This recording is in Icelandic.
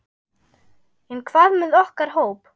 En hvað með okkar hóp?